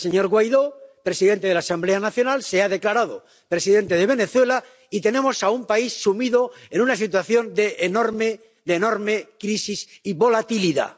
El señor Guaidó, presidente de la Asamblea Nacional, se ha declarado presidente de Venezuela y tenemos a un país sumido en una situación de enorme crisis y volatilidad.